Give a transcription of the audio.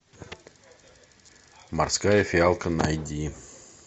морская фиалка найди